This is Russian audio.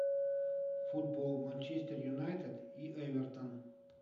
футбол манчестер юнайтед и эвертон